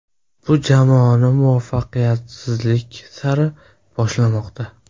Bu jamoani muvaffaqiyatsizlik sari boshlamoqda.